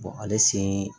ale sen